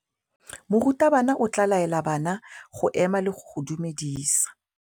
Morutabana o tla laela bana go ema le go go dumedisa.